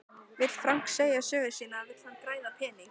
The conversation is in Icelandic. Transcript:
Vill Frank segja sögu sína eða vill hann græða pening?